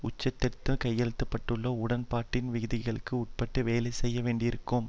உட்செலுத்தப்பட்ட கையெழுத்திட பட்டுள்ள உடன்பாட்டின் விதிகளுக்கு உட்பட்டு வேலை செய்ய வேண்டியிருக்கும்